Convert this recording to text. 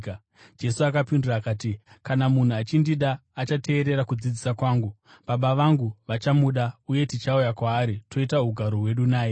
Jesu akapindura akati, “Kana munhu achindida, achateerera kudzidzisa kwangu. Baba vangu vachamuda, uye tichauya kwaari toita ugaro hwedu naye.